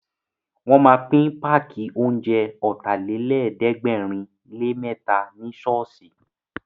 Wọ́n ma pín páàkì oúnjẹ Ọ̀tàlélẹ̀ẹ́dẹ́gbẹ̀rinlémẹ́ta ní ṣọ́ọ̀ṣì